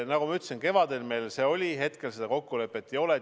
Nagu ma ütlesin, kevadel meil see meede oli, aga hetkel seda kokkulepet ei ole.